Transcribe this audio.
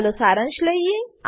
ચાલો સારાંશ લઈએ